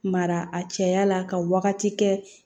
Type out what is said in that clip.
Mara a cɛya la ka wagati kɛ